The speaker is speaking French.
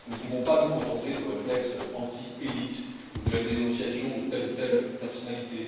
Nous ne pouvons pas nous contenter de réflexes anti élites, ou de la dénonciation de telle ou telle personnalité.